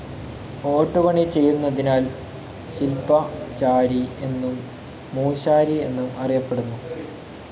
ഓട്ടുപണി ചെയ്യുന്നതിനാൽ ശിൽപചാരി എന്നും മൂശാരി എന്നും അറിയപ്പെടുന്നു.